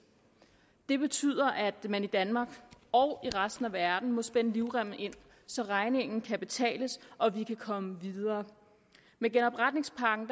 det betyder at man i danmark og i resten af verden må spænde livremmen ind så regningen kan betales og vi kan komme videre med genopretningspakken